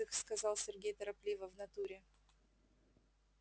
дык сказал сергей торопливо в натуре